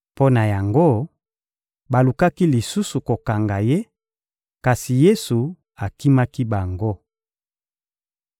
Mpo na yango, balukaki lisusu kokanga Ye, kasi Yesu akimaki bango.